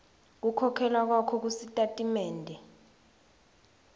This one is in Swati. kukhokhela kwakho kusitatimende